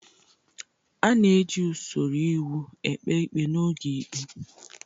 A na-eji usoro iwu ekpe ikpe n'oge ikpe.